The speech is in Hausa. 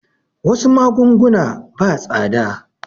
Wasu magunguna ba tsada